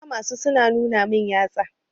Na kama su su na nuna min yatsa.